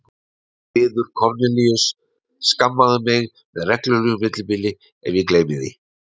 Hún biður Kornelíus: Skammaðu mig með reglulegu millibili ef ég gleymi því